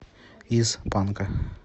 из панка